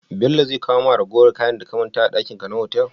Bello zai kawo ma ragowar kayan da ka manta dakin ka na otal?